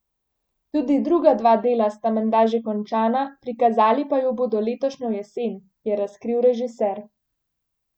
Tudi druga dva dela sta menda že končana, prikazali pa ju bodo letošnjo jesen, je razkril režiser.